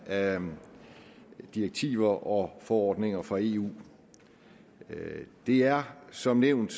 af direktiver og forordninger fra eu det er som nævnt